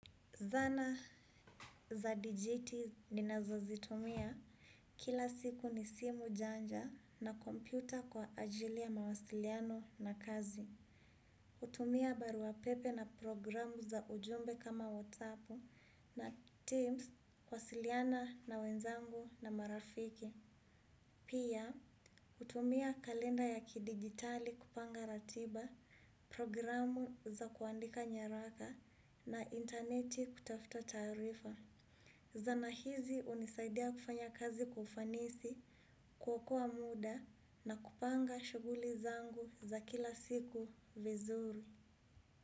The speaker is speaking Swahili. Zana za digiti ninazo zitumia kila siku ni simu janja na kompyuta kwa ajili ya mawasiliano na kazi. Hutumia barua pepe na programu za ujumbe kama WhatsApp na Teams, huwasiliana na wenzangu na marafiki. Pia, hutumia kalenda ya kidigitali kupanga ratiba, programu za kuandika nyaraka na interneti kutafuta taarifa. Zana hizi hunisaidia kufanya kazi kwa ufanisi, kuokoa muda na kupanga shughuli zangu za kila siku vizuri.